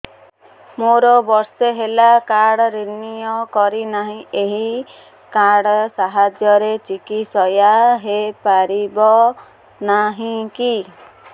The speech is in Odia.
ମୋର ବର୍ଷେ ହେଲା କାର୍ଡ ରିନିଓ କରିନାହିଁ ଏହି କାର୍ଡ ସାହାଯ୍ୟରେ ଚିକିସୟା ହୈ ପାରିବନାହିଁ କି